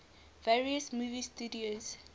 various movie studios